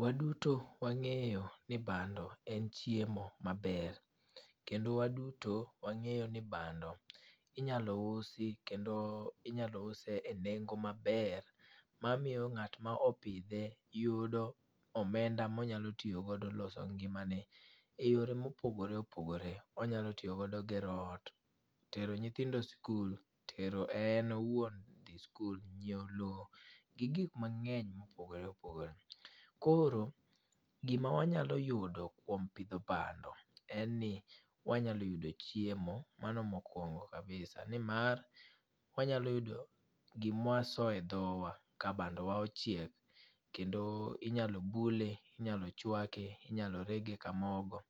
Waduto wang'eyo ni bando en chiemo maber, kendo waduto wang'eyo ni bando inyalo usi kendo inyalo use e nengo maber mamiyo ng'at ma opidhe yudo omenda monyalo tiyogodo loso ngimane e yore mopogore opogore. Onyalo tiyogodo gero ot, tero nyithindo skul, tero en owuon dhi skul, nyiewo lowo gi gikmang'eny mopogore opogore. Koro, gima wanyalo yudo kuom pidho bando en ni wanyalo yudo chiemo mano mokwongo kabisa nimar wanyalo yudo gimwasoye dhowa ka bandowa ochiek kendo inyalo bule, inyalo chwake, inyalo rege ka mogo